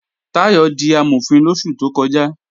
Táyọ̀ di Amọ̀fin lóṣù tó kọjá